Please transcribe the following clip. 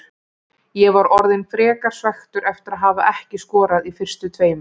Ég var orðinn frekar svekktur eftir að hafa ekki skorað í fyrstu tveimur.